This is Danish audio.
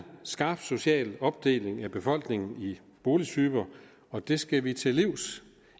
skarp social opdeling af befolkningen i boligtyper og det skal vi til livs